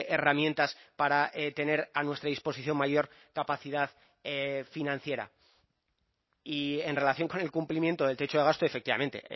herramientas para tener a nuestra disposición mayor capacidad financiera y en relación con el cumplimiento del techo de gasto efectivamente